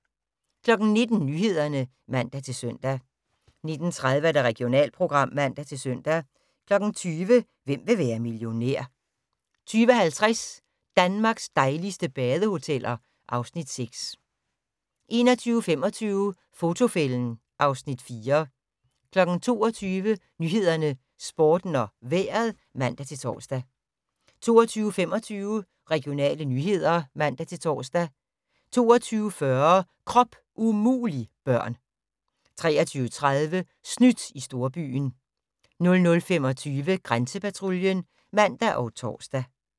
19:00: Nyhederne (man-søn) 19:30: Regionalprogram (man-søn) 20:00: Hvem vil være millionær? 20:50: Danmarks dejligste badehoteller (Afs. 6) 21:25: Fotofælden (Afs. 4) 22:00: Nyhederne, Sporten og Vejret (man-tor) 22:25: Regionale nyheder (man-tor) 22:40: Krop umulig - børn 23:30: Snydt i storbyen 00:25: Grænsepatruljen (man og tor)